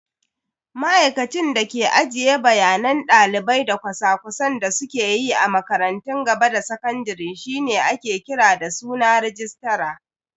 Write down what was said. Ma'aikacin da ke ajiye bayanan dalibai da cosa-cosan da suke yi a makarantun gaba da sakandare shine ake kira da suna "Registra".